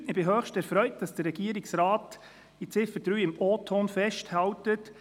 Ich bin höchst erfreut, dass der Regierungsrat zu Ziffer 3 im Originalton festhält: